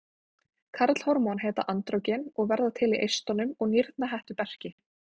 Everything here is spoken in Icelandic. Karlhormón heita andrógen og verða til í eistunum og nýrnahettuberki.